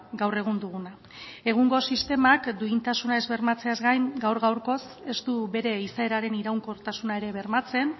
gaur egun duguna egungo sistemak duintasuna ez bermatzeaz gain gaur gaurkoz ez du bere izaeraren iraunkortasuna ere bermatzen